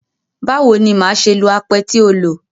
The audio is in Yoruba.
Báwo ni màá ṣe lo apẹ tí o lò?